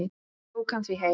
Ég tók hann því heim.